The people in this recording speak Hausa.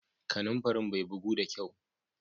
Kananfarin bai guku da kyau.